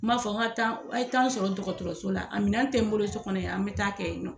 N b'a fɔ a taa, a ye taa n sɔrɔ dɔgɔtɔrɔso la a minɛ tɛ n bolo so kɔnɔ y'an bɛ taa kɛ yen nɔ.